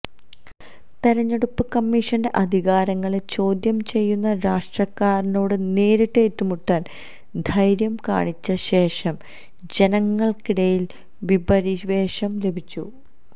തിരഞ്ഞെടുപ്പ് കമ്മീഷന്റെ അധികാരങ്ങളെ ചോദ്യം ചെയ്യുന്ന രാഷ്ട്രീയക്കാരനോട് നേരിട്ട് ഏറ്റുമുട്ടാന് ധൈര്യം കാണിച്ച ശേഷന് ജനങ്ങള്ക്കിടയില് വീരപരിവേഷം ലഭിച്ചു